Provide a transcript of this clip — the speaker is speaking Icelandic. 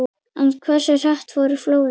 En hversu hratt fóru flóðin?